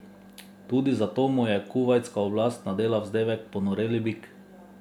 Tudi zato mu je kuvajtska oblast nadela vzdevek Ponoreli bik.